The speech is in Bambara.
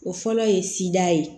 O fɔlɔ ye sida ye